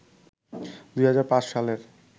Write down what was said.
২০০৫ সালের